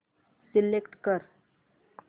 select कर